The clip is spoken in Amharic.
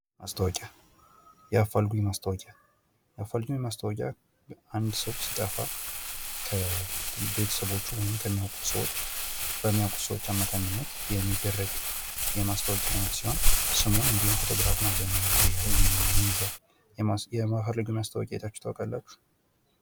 ማስታወቂያ የአፋልጉኝ ማስታወቂያ የአፋልጉኝ ማስታወቂያ አንድ ሰው ሲጠፋ ከበተሰቦቹ ወይም ከሚያውቁት ሰዎች በሚያውቁት ሰዎች አማካኝነት የሚደረግ የማስታወቂያ አይነት ሲሆን ስሙን እንዲሁም ፎቶግራፉን አብዛኛውን ጊዜ ይይዛል። የአፋልጉኝ ማስታወቂያ አይታችሁ ታውቃላችሁ?